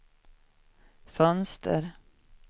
fönster